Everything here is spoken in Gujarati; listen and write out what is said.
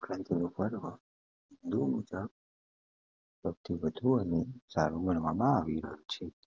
સૌથી વધુ અને સાર ગણવામાં આવ્યું છે